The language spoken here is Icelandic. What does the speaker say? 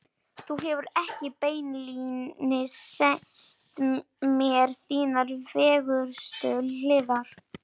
Þú hefur ekki beinlínis sýnt mér þínar fegurstu hliðar.